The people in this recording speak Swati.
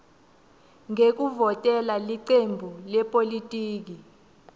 ngekuvotela licembu lepolitiki